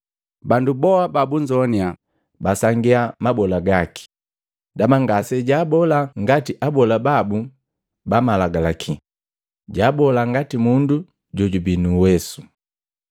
Bandu boa babuzoanya basangia mabola gaki, ndaba ngasejaabola ngati abola babu ba malagalaki, jaabola ngati mundu jojubii nu uwesu.